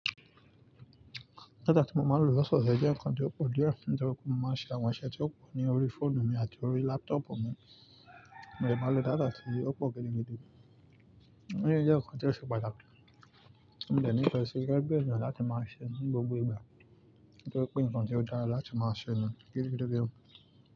Data tí mo máa ń lò lásán jẹ́ ǹkan tó pọ̀ díẹ̀, nítorí pé mo máa ń ṣe àwọn iṣẹ́ tí ó pọ̀ ní orí fóònù mi àti orí lápútọ̀pù mi, mo dè máa lo data tí ó pọ̀ gidi gan. Nígbà tí ó ṣe pàtàkì, mo lè ní ìfẹ́ sí ẹgbẹ̀jọ láti máa ṣe ní gbogbo ìgbà, kí ó tó pé ǹkan tí ó dára láti máa ṣe ní gidi gan.